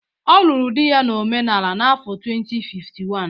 Ọ lụrụ di ya na omenala n'afọ 2051.